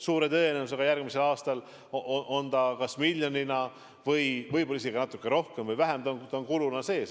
Suure tõenäosusega järgmisel aastal on kas miljon, võib-olla natuke rohkem või vähem, kuluna sees.